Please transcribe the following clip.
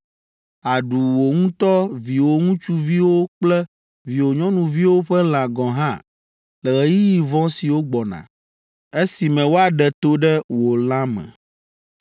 Àɖu wò ŋutɔ viwò ŋutsuviwo kple viwò nyɔnuviwo ƒe lã gɔ̃ hã le ɣeyiɣi vɔ̃ siwo gbɔna, esime woaɖe to ɖe wò la me.